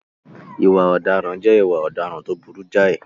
Ìwà ọ̀daràn jẹ́ ìwà ọ̀daràn tó burú jáì.